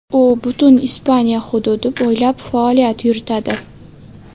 U butun Ispaniya hududi bo‘ylab faoliyat yuritadi.